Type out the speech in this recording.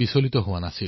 নেহেৰুৱালে